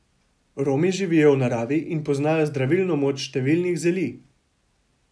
Romi živijo v naravi in poznajo zdravilno moč številnih zeli.